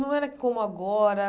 Não era como agora.